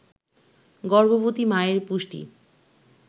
গর্ভবতী মায়ের পুষ্টি